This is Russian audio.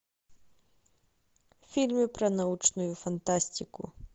фильмы про научную фантастику